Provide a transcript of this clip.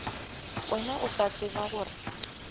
wena o a tseba gore